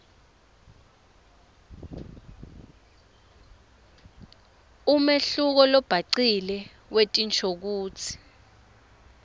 umehluko lobhacile wetinshokutsi